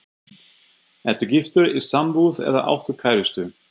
Ertu giftur, í sambúð eða áttu kærustu?